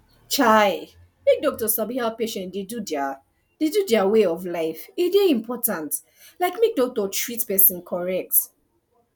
chai make doctor sabi how patient dey do their dey do their way of life e dey important like make doctor treat person correct